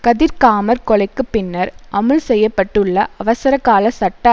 கதிர்காமர் கொலைக்கு பின்னர் அமுல்செய்யப்பட்டுள்ள அவசரகால சட்ட